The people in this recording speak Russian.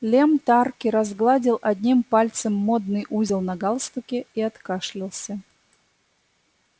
лем тарки разгладил одним пальцем модный узел на галстуке и откашлялся